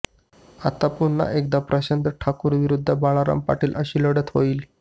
आता पुन्हा एकदा प्रशांत ठाकूर विरूध्द बाळाराम पाटील अशी लढत होईल